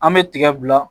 An bɛ tiga bila